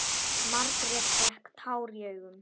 Margrét fékk tár í augun.